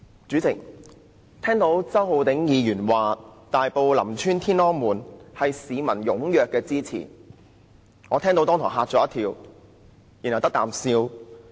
主席，我聽到周浩鼎議員說，大埔林村"天安門"的改善工程得到市民踴躍支持，立時驚一跳，然後"得啖笑"。